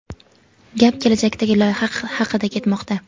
gap kelajakdagi loyiha haqida ketmoqda.